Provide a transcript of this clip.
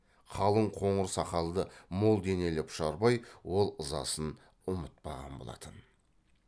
қалың қоңыр сақалды мол денелі пұшарбай ол ызасын ұмытпаған болатын